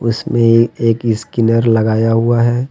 इसमें एक स्कैनर लगाया हुआ है।